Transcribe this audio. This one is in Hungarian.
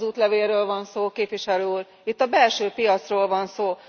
Itt nem az útlevélről van szó, Képviselő úr, itt a belső piacról van szó.